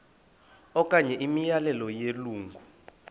okanye imiyalelo yelungu